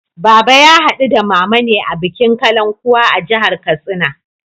Baba ya haɗu da Mama ne a bikin Kalankuwa a jihar Katsina.